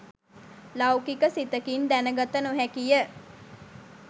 ලෞකික සිතකින් දැනගත නොහැකිය.